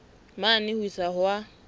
mane ho isa ho a